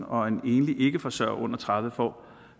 og en enlig ikkeforsørger under tredive år får